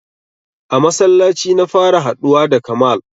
A masallaci na fara haɗuwa da Kamal.